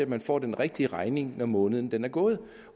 man får den rigtige regning når måneden er gået